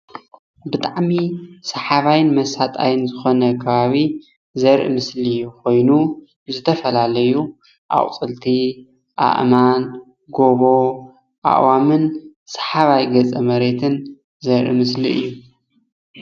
ብጣዕሚ ሰሓባይን መሣጥን ዝኾነ ኸባቢ ዛርኢ ምስሊ ኾይኑ ዝተፈላለዩ ኣቁፅልቲ ኣእማን ፤ጎቦ፣ ኣእዋማትን ሰሓባይ ገፀ መሬትን ዘርኢ ምስሊ እዪ።